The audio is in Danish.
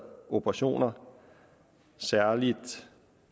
operationer særlig